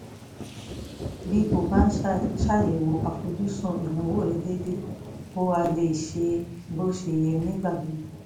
bí o bá ń ṣàyẹ̀wò àfojúsùn ìnáwó rẹ déédéé o á lè ṣe é bó ṣe yẹ nígbà gbogbo